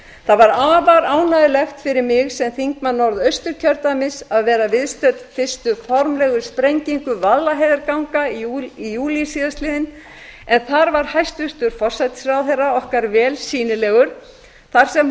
það var afar ánægjulegt fyrir mig sem þingmann norðausturkjördæmis að vera viðstödd fyrstu formlegu sprengingu vaðlaheiðarganga í júlí síðastliðnum en þar var hæstvirtur forsætisráðherra okkar vel sýnilegur þar sem